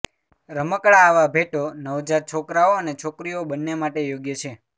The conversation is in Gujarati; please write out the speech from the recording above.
રમકડાં આવા ભેટો નવજાત છોકરાઓ અને છોકરીઓ બંને માટે યોગ્ય છે